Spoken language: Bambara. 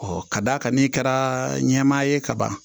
ka d'a kan n'i kɛra ɲɛmaa ye kaban